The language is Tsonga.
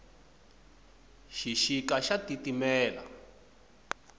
xixika xa titimela